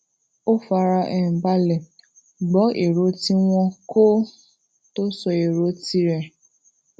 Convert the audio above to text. ó fara um balè gbó ero tí wón kó tó sọ èrò ti rè